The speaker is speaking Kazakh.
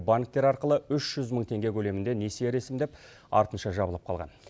банктері арқылы теңге көлемінде несие ресімдеп артынша жабылып қалған